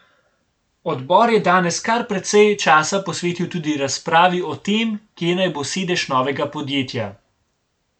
Odbor je danes kar precej časa posvetil tudi razpravi o tem, kje naj bo sedež novega podjetja.